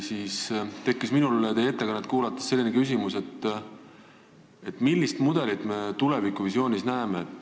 Minul tekkis teie ettekannet kuulates küsimus, millist mudelit me tulevikuvisioonis näeme.